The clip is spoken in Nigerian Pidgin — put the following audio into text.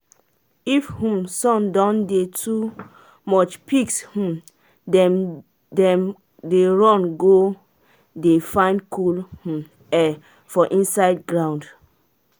if um sun don dey too much pigs um them dem dey run go dey find cool um air for inside ground.